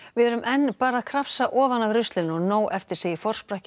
við erum enn bara að krafsa ofan af ruslinu og nóg eftir segir forsprakki